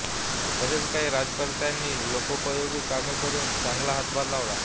तसेच काही राज्यकर्त्यांनी लोकोपयोगी कामे करून चांगला हातभार लावला